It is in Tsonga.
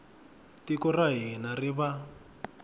tiko ra hina ri va